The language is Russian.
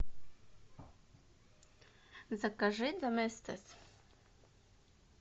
закажи доместос